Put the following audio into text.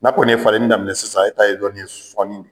N'a kɔni ye falenni daminɛ sisan e ta ye dɔni ye sɔnni